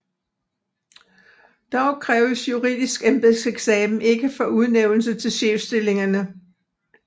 Dog kræves juridisk embedseksamen ikke for udnævnelse til chefstillingerne